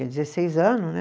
dezesseis anos, né?